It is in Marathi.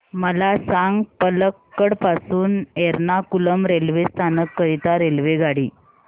मला सांग पलक्कड पासून एर्नाकुलम रेल्वे स्थानक करीता रेल्वेगाडी